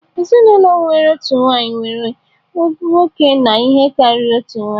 Ezinụlọ nwere otu nwanyị nwere nwoke na ihe karịrị otu nwanyị